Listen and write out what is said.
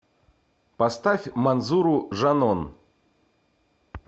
поставь манзуру жанон